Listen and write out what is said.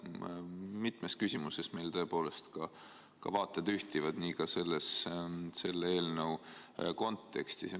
Mitmes küsimuses meil tõepoolest ka vaated ühtivad, nii ka selle eelnõu kontekstis.